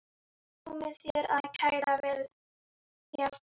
Komi þeir sem kæra vilja.